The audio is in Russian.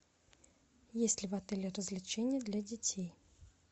есть ли в отеле развлечения для детей